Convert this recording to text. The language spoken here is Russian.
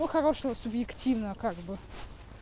хорошего субъективно как бы